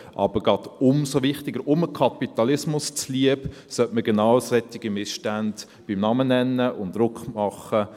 Aber gerade umso wichtiger, dem Kapitalismus zuliebe, sollte man genau solche Missstände beim Namen nennen und Druck machen.